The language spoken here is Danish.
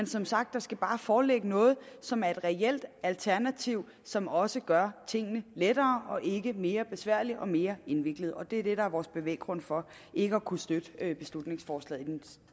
som sagt bare foreligge noget som er et reelt alternativ som også gør tingene lettere og ikke mere besværlige og mere indviklede og det er det der er vores bevæggrund for ikke at kunne støtte beslutningsforslaget